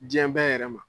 Diɲɛ bɛɛ yɛrɛ ma